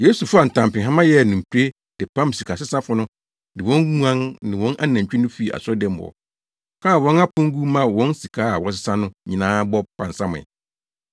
Yesu faa ntampehama yɛɛ no mpire de pam sikasesafo no ne wɔn nguan ne wɔn anantwi no fii asɔredan mu hɔ, kaa wɔn apon gu maa wɔn sika a wɔresesa no nyinaa bɔ pansamee.